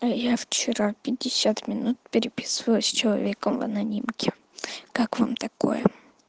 а я вчера пятьдесят минут переписывалась с человеком в анонимке как вам такое